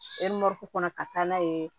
kɔnɔ ka taa n'a ye